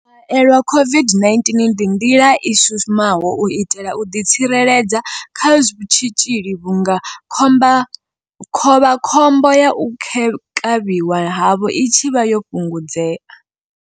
U haelelwa COVID-19 ndi nḓila i shumaho u itela u ḓi tsireledza kha tshitzhili vhunga khovhakhombo ya u kavhiwa havho i tshi vha yo fhungudzea.